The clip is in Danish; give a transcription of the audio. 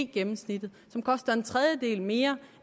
gennemsnittet som koster en tredjedel mere